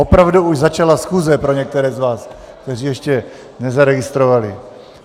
Opravdu už začala schůze, pro některé z vás, kteří ještě nezaregistrovali.